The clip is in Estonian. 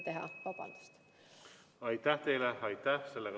Aitäh teile!